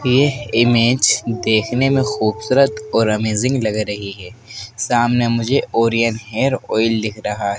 यह इमेज देखने में खूबसूरत और अमेजिंग लग रही है। सामने मुझे ओरियन हेयर ऑयल दिख रहा है।